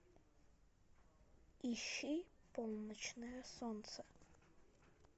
ищи полночное солнце